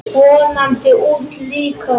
Vonandi úti líka.